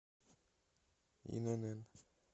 инн